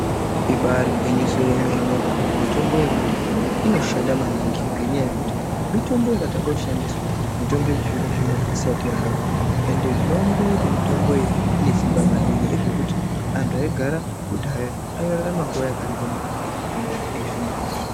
Ibari gwinyiso remene mitombo yekudhaya inoshanda maningi ngenyaya yekuti mitombo yakatanga kushandiswa mitombo yechizvinezvi unowu isati yayo ende zvinooneka kuti mitombo iyona ine Simba maningi ndezvekuti antu aigara kudhaya airarama nguwa yakareba maningi kupinda ezvino.